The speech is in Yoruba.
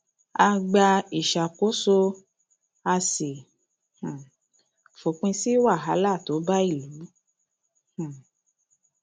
a gba ìṣàkóso a sì um fòpin sí wàhálà tó bá ìlú um